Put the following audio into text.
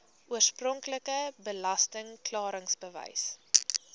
oorspronklike belasting klaringsbewys